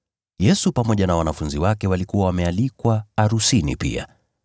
Yesu pamoja na wanafunzi wake walikuwa wamealikwa arusini pia.